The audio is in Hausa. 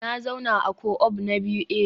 Na zauna a co-op na biyu eh